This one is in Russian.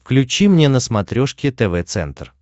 включи мне на смотрешке тв центр